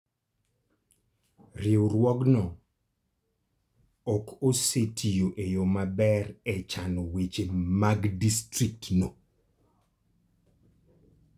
Riwruogno ok osetiyo e yo maber e chano weche mag distriktno.